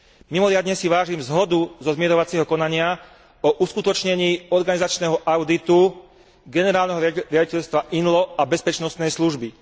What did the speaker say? Mimoriadne si vážim zhodu zo zmierovacieho konania o uskutočnení organizačného auditu Generálneho riaditeľstva INLO a bezpečnostnej služby.